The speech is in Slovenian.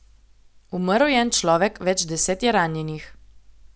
Umrl je en človek, več deset je ranjenih.